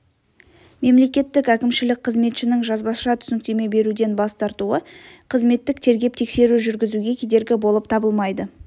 мемлекеттік әкімшілік қызметшінің жазбаша түсініктеме беруден бас тартуы қызметтік тергеп-тексеру жүргізуге кедергі болып табылмайды